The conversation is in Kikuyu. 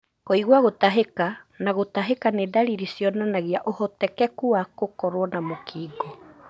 Kũigua gũtahika na gũtahĩka nĩ ndaririr cionanagia ũhotekeku wa gũkorwo na mũkingo.